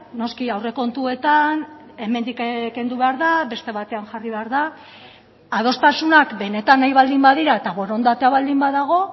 noski aurrekontuetan hemendik kendu behar da beste batean jarri behar da adostasunak benetan nahi baldin badira eta borondatea baldin badago